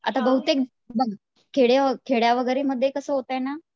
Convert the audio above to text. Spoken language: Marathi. आता बहूतेक, बघ खेड्यावगैरे मध्ये कसं होतंय ना